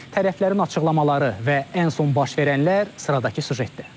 Tərəflərin açıqlamaları və ən son baş verənlər sıradakı süjetdə.